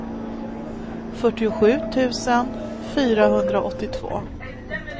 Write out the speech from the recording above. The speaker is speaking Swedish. fyrtiosju tusen fyrahundraåttiotvå